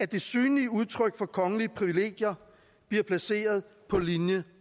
det synlige udtryk for kongelige privilegier bliver placeret på linje